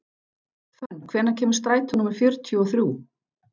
Fönn, hvenær kemur strætó númer fjörutíu og þrjú?